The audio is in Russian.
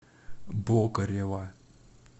бокорева